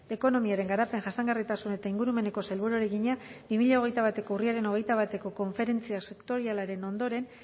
ekonomiaren garapen jasangarritasun eta ingurumeneko sailburuari egina bi mila hogeita bateko urriaren hogeita bateko konferentzia sektorialaren ondoren